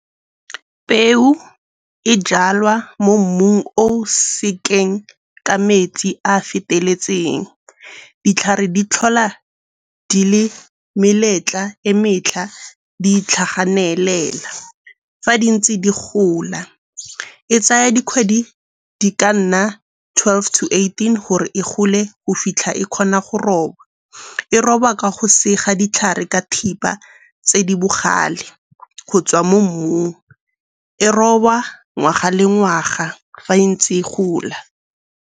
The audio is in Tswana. Peu e jalwa mo mmung o sekeng ka metsi a a feteletseng. Ditlhare di tlhola di le meletla e metlha di itlhaganelela fa di ntse di gola. E tsaya dikgwedi di ka nna twelve to eighteen gore e gole go fitlha e kgona go robwa. E robwa ka go sega ditlhare ka thipa tse di bogale go tswa mo mmung. E robwa ngwaga le ngwaga fa e ntse e gola.